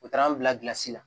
U taara an bila la